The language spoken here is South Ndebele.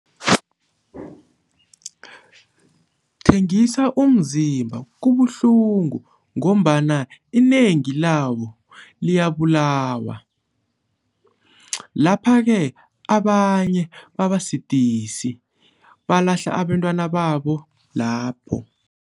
Thengisa umzimba kubuhlungu ngombana inengi labo Liyabulawa, lapha-ke abanye babasidisi balahle abentwana babo lapho